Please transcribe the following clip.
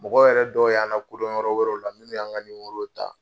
Mɔgɔ yɛrɛ dɔw y'an lakodɔn yɔrɔ wɛrɛ la, minnu y'an ka nimerow ta.